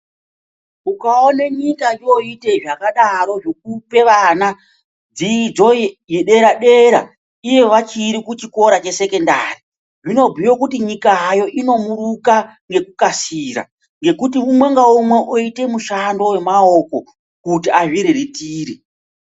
Ukaone nyika yoite zvakadaro zvekupe vana dzidzo ye dera dera iyo vachiri kuchikora che sekendari zvino bhuye kuti nyika hayo ino muruka ngeku kasira ngekuti umwe nga umwe oite mushando we maoko kuti azvi riritire.